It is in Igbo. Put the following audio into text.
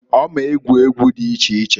Ọ m'egwu egwu dị iche iche.